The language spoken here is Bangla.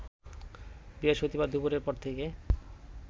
বৃহস্পতিবার দুপুরের পর থেকে